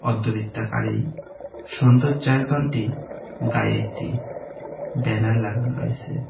অর্ধবৃত্তাকার এই সৌন্দর্যতায়তানটি গায়ে একটি ব্যানার লাগানো রয়েসে।